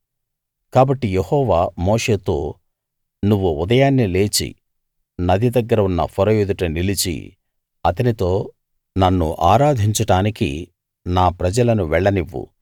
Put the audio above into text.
కాబట్టి యెహోవా మోషేతో నువ్వు ఉదయాన్నే లేచి నది దగ్గర ఉన్న ఫరో ఎదుట నిలిచి అతనితో నన్ను ఆరాధించడానికి నా ప్రజలను వెళ్లనివ్వు